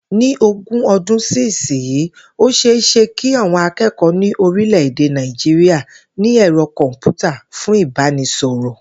Ní ogún o̩dún sísinyìí, ó ṣe é ṣe kí àwọn aké̩kò̩ó̩ ní orílè̩-èdè Nàìjíríà ní è̩ro̩ kò̩m̀pútà fún ìbánisò̩rò̩